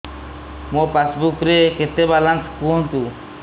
ମୋ ପାସବୁକ୍ ରେ କେତେ ବାଲାନ୍ସ କୁହନ୍ତୁ